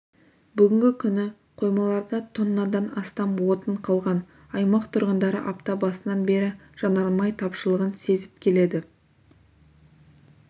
бүгінгі күні қоймаларда тоннадан астам отын қалған аймақ тұрғындары апта басынан бері жанармай тапшылығын сезіп келеді